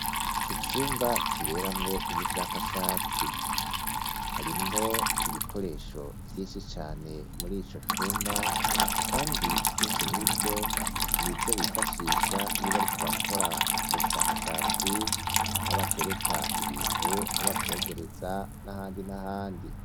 Icumba kiberamwo ubushakashatsi, harimwo ibikoresho vyinshi cane muri ico cumba kandi vyinshi muri vyo n'ivyo bifashisha iyo bariko barakora ubwo bushakashatsi aho batereka ibintu aho bavyogereza n'ahandi n'ahandi.